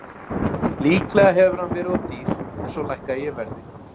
Líklega hefur hann verið of dýr en svo lækkaði ég verðið.